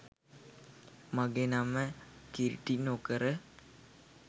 මගේ නම කිලිටිනොකර